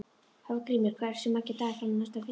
Hafgrímur, hversu margir dagar fram að næsta fríi?